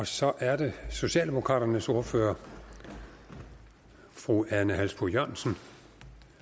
så er det socialdemokraternes ordfører fru ane halsboe jørgensen